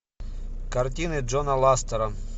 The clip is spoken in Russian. картины джона ластера